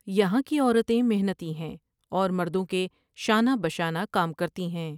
یہاں کی عورتیں محنتی ہیں اور مردوں کے شانہ بشانہ کام کرتی ہیں ۔